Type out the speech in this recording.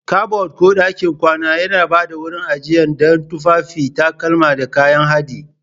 Kabad ko ɗakin kwana yana ba da wurin ajiya don tufafi, takalma, da kayan haɗi.